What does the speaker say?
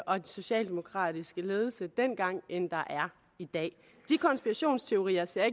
og den socialdemokratiske ledelse dengang end der er i dag de konspirationsteorier ser